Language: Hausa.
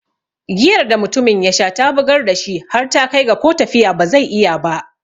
Giyar da mutumin yasha ya bugar dashi har ta kai ga ko tafiya ba zai iya ba.